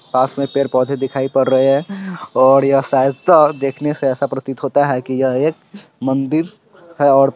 पास में पेड़-पौधे दिखाई पड़ रहे है और यह शायद अ- देखने से ऐसा प्रतीत होता है कि यह एक मंदिर है और--